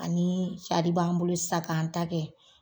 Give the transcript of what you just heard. Ani b'an bolo sa k'an ta kɛ